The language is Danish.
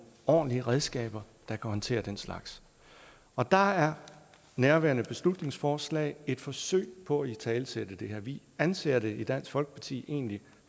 ordentlige redskaber der kan håndtere den slags og der er nærværende beslutningsforslag et forsøg på at italesætte det her vi anser det i dansk folkeparti egentlig